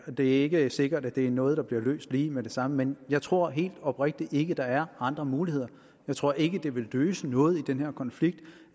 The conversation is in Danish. og det er ikke sikkert at det er noget der bliver løst lige med det samme men jeg tror helt oprigtigt ikke at der er andre muligheder jeg tror ikke det vil løse noget i den her konflikt